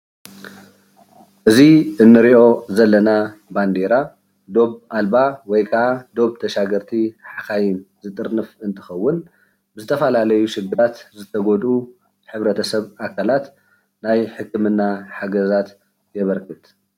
እዚ እንሪኦ ዘለና ባንደራ ዶብ ኣልባ ወይ ከዓ ዶብ ተሻገርቲ ሓካይም ዝጥርንፍ እንትከውን ዝተፈላለዩ ሽግራት ዝተጎድኡ ሕብረተሰብ ኣካላት ናይ ሕክምና ሓገዛት የበርክት፡፡